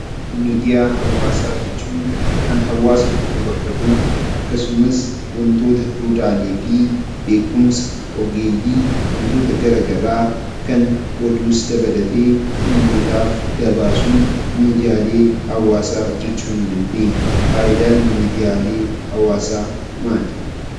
Miidiyaa hawaasaa jechuun kan hawaasa tokko bakka bu'u, akkasumas waantota duudhaalee fi beekumsa ogeeyyii akkasumas waantota garaagaraa kan oduus dabalatee uummataaf gabaasuun miidiyaalee hawaasaa jechuu ni dandeenya. Fayidaan miidiyaalee hawaasaa maali?